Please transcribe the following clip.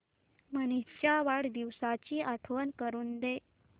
मनीष च्या वाढदिवसाची आठवण करून दे